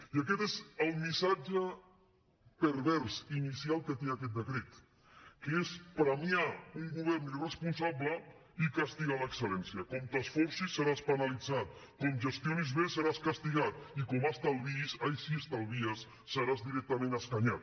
i aquest és el missatge pervers inicial que té aquest decret que és premiar un govern irresponsable i castigar l’excel·lència com t’esforcis seràs penalitzat com gestionis bé seràs castigat i com estalviïs ai si estalvies seràs directament escanyat